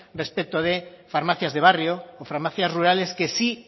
respecto de farmacias de barrio o farmacias rurales que sí